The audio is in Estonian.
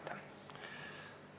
Aitäh teile!